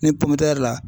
Ni pɔntɛri la